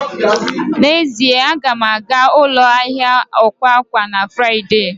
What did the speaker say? N'ezie, a ga m aga ụlọ ahịa akwa akwa na Fraịde